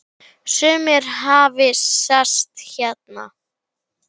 Sumir hafi sest hér að.